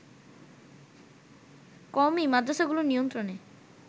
কওমী মাদ্রাসাগুলো নিয়ন্ত্রণে